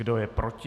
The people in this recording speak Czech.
Kdo je proti?